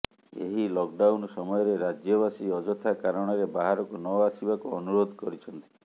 ଏହି lockdown ସମୟରେ ରାଜ୍ୟବାସୀ ଅଯଥା କାରଣରେ ବାହାରକୁ ନ ଆସିବାକୁ ଅନୁରୋଧ କରିଛନ୍ତି